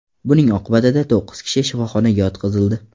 Buning oqibatida to‘qqiz kishi shifoxonaga yotqizildi.